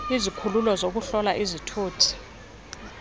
izikhululo zokuhlola izithuthi